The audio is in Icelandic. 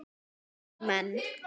Mínir menn!